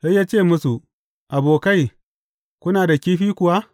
Sai ya ce musu, Abokai, kuna da kifi kuwa?